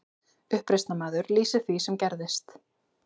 Uppreisnarmaður lýsir því sem gerðist